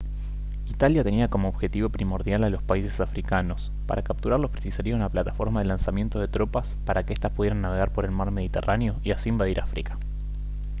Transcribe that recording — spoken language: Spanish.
italia tenía como objetivo primordial a los países africanos para capturarlos precisaría una plataforma de lanzamiento de tropas para que estas pudieran navegar por el mar mediterráneo y así invadir áfrica